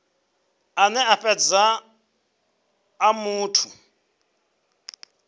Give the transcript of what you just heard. ane a fhedza a muthu